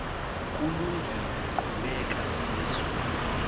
kulungile qhubeka sizwe